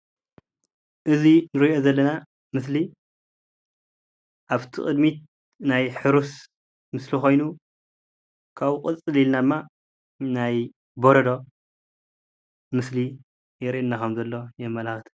እዙ እንሪኦ ዘለና ምስሊ ኣፍቲ ቅድሚት ናይ ሕሩስ ምስሊ ኾይኑ ካብኡ ቅፅል ኢልና ድማ ናይ በረዶ ምስሊ የርአየና ከም ዘሎ የመላክት።